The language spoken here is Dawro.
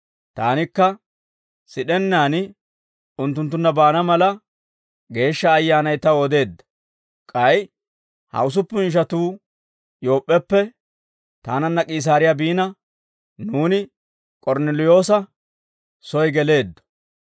Taanikka sid'ennaan unttunttunna baana mala, Geeshsha Ayyaanay taw odeedda. K'ay ha usuppun ishatuu Yoop'p'eppe taananna K'iisaariyaa biina, nuuni K'ornneliyoosa soy geleeddo.